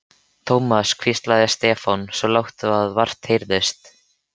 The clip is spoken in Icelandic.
Thomas hvíslaði Stefán, svo lágt að vart heyrðist.